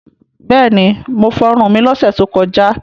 Bẹ́ẹ̀ni, mo fọrun mi lọ́sẹ̀ tó kọjá.